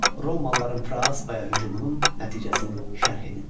Romalıların Fraspaya hücumunun nəticəsini şərh edin.